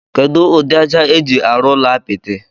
Kedu udi aja eji arụ ụlọ apiti?